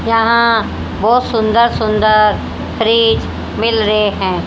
यहां बहुत सुंदर सुंदर फ्रिज मिल रहे हैं।